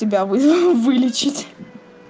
тебя вылечить